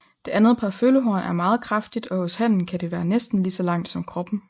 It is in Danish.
Det andet par følehorn er meget kraftigt og hos hannen kan det være næsten lige langt som kroppen